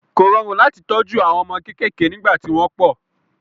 Kò rọrùn láti tọ́jú àwọn ọmọ kéékèèké nígbà tí wọ́n pọ̀.